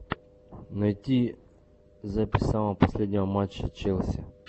найти запись самого последнего матча челси